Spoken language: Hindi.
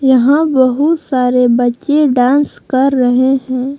यहां बहुत सारे बच्चे डांस कर रहे हैं।